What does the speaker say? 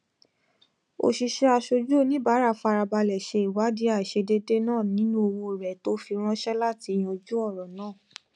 òṣìṣẹ aṣojú oníbàárà farabalẹ ṣe ìwádìí àìṣedéédé náà nínú owó rẹ tó fi ránṣẹ láti yanjú ọrọ náà